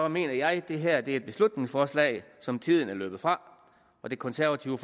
mener jeg at det her er et beslutningsforslag som tiden er løbet fra og det konservative